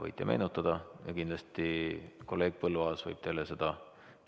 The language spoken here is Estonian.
Võite meenutada ja kindlasti kolleeg Põlluaas võib teile seda